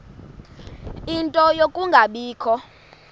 ie nto yokungabikho